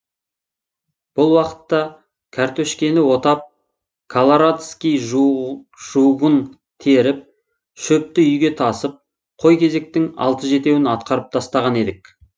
бұл уақытта кәртөшкені отап каларадский жугын теріп шөпті үйге тасып қой кезектің алты жетеуін атқарып тастаған едік